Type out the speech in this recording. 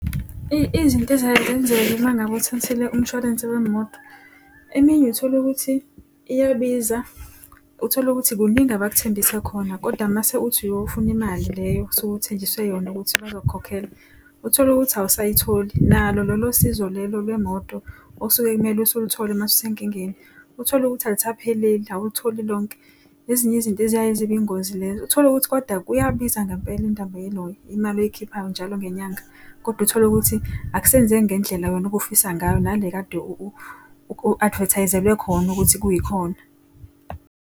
Izinto eziyaye zenzeka uma ngabe uthathile umshwalense wemoto, eminye utholukuthi iyabiza utholukuthi kuningi abakuthembise khona kodwa mase uthi uyofuna imali leyo osuke uthenjiswe yona ukuthi bazokukhokhela, utholukuthi awusayitholi. Nalo lolo sizo lelo lwemoto osuke kumele usuluthole mase usenkingeni utholukuthi alusapheleli, awulitholi lonke. Ezinye izinto eziyaye ezibe ingozi lezo. Utholukuthi koda kuyabiza ngampela indaba yelo, imali oyikhiphayo njalo ngenyanga. Kodwa utholukuthi akusenzeki ngendlela wena obufisa ngayo nale ekade adevethayizelwe khona ukuthi kuyikhona.